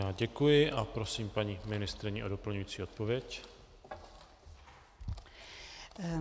Já děkuji a prosím paní ministryni o doplňující odpověď.